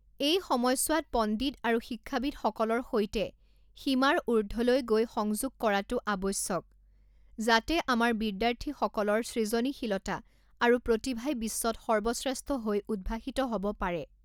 এই সময়চোৱাত পণ্ডিত আৰু শিক্ষাবিদসকলৰ সৈতে সীমাৰ ঊৰ্ধলৈ গৈ সংযোগ কৰাটো আৱশ্যক যাতে আমাৰ বিদ্যাৰ্থীসকলৰ সৃজনীশীলতা আৰু প্ৰতিভাই বিশ্বত সৰ্বশ্ৰেষ্ঠ হৈ উদ্ভাসিত হ’ব পাৰে।